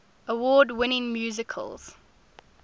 award winning musicals